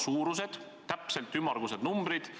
Sellised ümmargused numbrid.